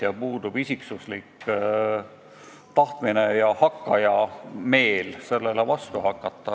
Ja millegipärast puudub paljudel tahtmine ja hakkaja meel sellele vastu hakata.